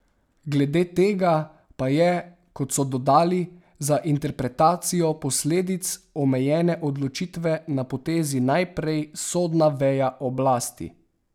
Glede tega pa je, kot so dodali, za interpretacijo posledic omenjene odločitve na potezi najprej sodna veja oblasti.